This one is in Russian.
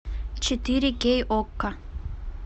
четыре кей окко